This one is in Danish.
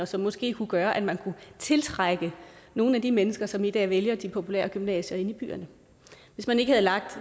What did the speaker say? som måske kunne gøre at man kunne tiltrække nogle af de mennesker som i dag vælger de populære gymnasier inde i byerne hvis man ikke havde lagt